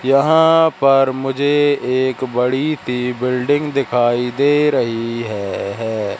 यहां पर मुझे एक बड़ी सी बिल्डिंग दिखाई दे रही है है।